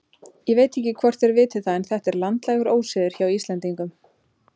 Ég veit ekki hvort þér vitið það en þetta er landlægur ósiður hjá Íslendingum.